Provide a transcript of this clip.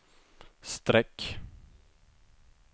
streck